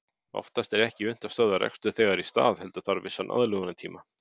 Oftast er ekki unnt að stöðva rekstur þegar í stað heldur þarf vissan aðlögunartíma.